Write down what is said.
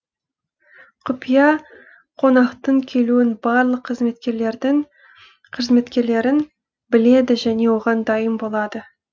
құпия қонақтың келуін барлық қызметкерлерін біледі және оған дайын болады